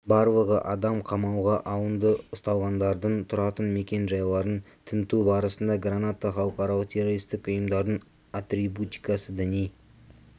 барлығы адам қамауға алынды ұсталғандардың тұратын мекенжайларын тінту барысында граната халықаралық террористік ұйымдардың атрибутикасы діни